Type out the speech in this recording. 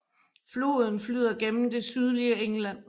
Floden flyder gennem det sydlige England